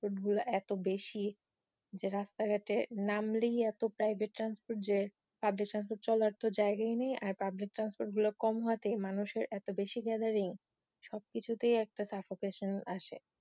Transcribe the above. গুলো এতো বেশি যে রাস্তাঘাটে নামলেই এতো পরিবতে ট্রান্সপোর্ট যে পাবলিক ট্রান্সপোর্ট তো চলার তো জায়গাই নেই আর পাবলিক ট্রান্সপোর্ট গুলো এত কম হওয়াতে মানুষের এতো গ্যাদারিং সবকিছুতেই একটা সাফোকেশন আসে